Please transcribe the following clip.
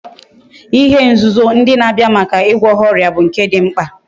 ihe nzuzo ndi na Abia Maka igwo ha oria but nke di mkpa